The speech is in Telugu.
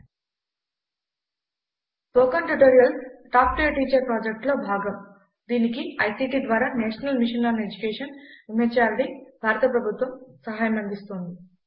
spoken tutorials talk to a teacher project లో భాగం దీనికి ఐసీటీ ద్వారా నేషనల్ మిషన్ ఆన్ ఎడ్యుకేషన్ MHRDభారత ప్రభుత్వము సహాయం అందిస్తోంది